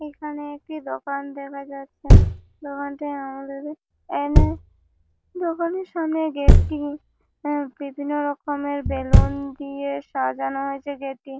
এখানে একটি দোকান দেখা যাচ্ছে। দোকানটি অনেক দোকানের সামনে গেট -টি বিভিন্ন রকমের বেলুন দিয়ে সাজানো হয়েছে গেট -টি।